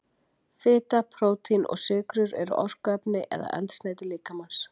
Fita, prótín og sykrur eru orkuefni eða eldsneyti líkamans.